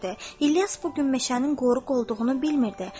İlyas bu gün meşənin qoruğ olduğunu bilmirdi.